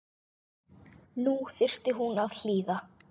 Nú þyrfti hún að hlýða.